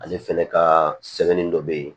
Ale fɛnɛ ka sɛbɛnni dɔ be yen